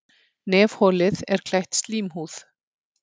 Nefholið er klætt slímhúð.